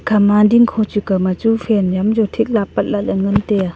khama dingkho chi kao ma chu fan yam chu thik la apat lahle ngan tai a.